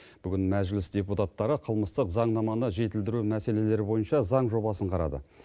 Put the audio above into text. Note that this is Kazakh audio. бүгін мәжіліс депутаттары қылмыстық заңнаманы жетілдіру мәселелері бойынша заң жобасын қарады